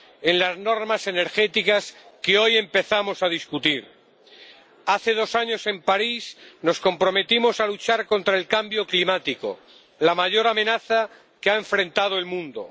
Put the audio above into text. en las normas energéticas que hoy empezamos a debatir. Hace dos años, en París, nos comprometimos a luchar contra el cambio climático, la mayor amenaza que ha afrontado el mundo.